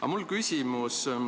Aga mul on küsimus.